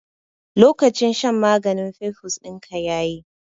Lokacin shan maganin fimfus dinka yayi